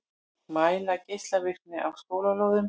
Mæla geislavirkni á skólalóðum